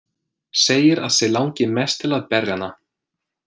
Segir að sig langi mest til að berja hana.